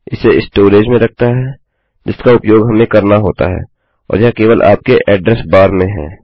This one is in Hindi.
इसे स्टोरेज में रखता है जिसका उपयोग हमें करना होता है और यह केवल आपके ऐड्रेस बार में है